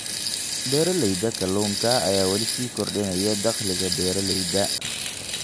Beeralayda kalluunka ayaa weli sii kordhinaysa dakhliga beeralayda.